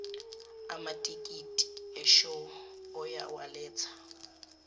amatikiti eshow uyawaletha